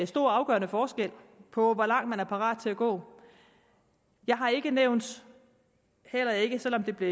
stor og afgørende forskel på hvor langt man er parat til at gå jeg har ikke nævnt heller ikke selv om det blev